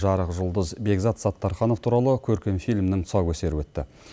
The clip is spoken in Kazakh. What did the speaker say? жарық жұлдыз бекзат саттарханов туралы көркем фильмнің тұсаукесері өтті